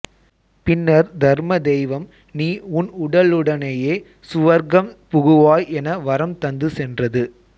பின்னர் தருமதெய்வம் நீ உன் உடலுடனேயே சுவர்க்கம் புகுவாய் என வரம் தந்து சென்றது